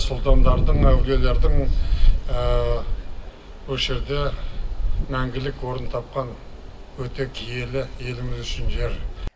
сұлтандардың әулилердің осы жерде мәңгілік орын тапқан өте киелі еліміз үшін жер